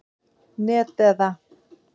net eða.